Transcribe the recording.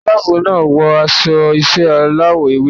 Ẹ̀ṣọ́ aláàbò náà wọ aṣọ iṣẹ́ aláwọ̀ ewé.